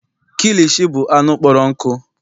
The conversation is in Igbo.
Kilishi bụ anụ kpọrọ nkụ.